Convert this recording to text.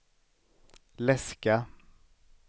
läska